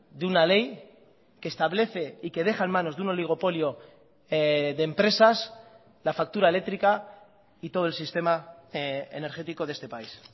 de una ley que establece y que deja en manos de un oligopolio de empresas la factura eléctrica y todo el sistema energético de este país